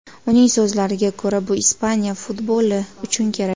Uning so‘zlariga ko‘ra, bu Ispaniya futboli uchun kerak.